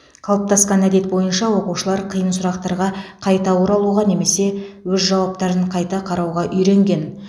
қалыптасқан әдет бойынша оқушылар қиын сұрақтарға қайта оралуға немесе өз жауаптарын қайта қарауға үйренген